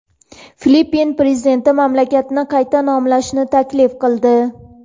Filippin prezidenti mamlakatni qayta nomlashni taklif qildi.